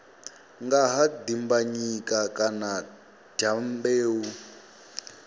nga ha dimbanyika kana dyambeu